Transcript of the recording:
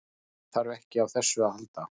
Hann þarf ekki á þessu að halda.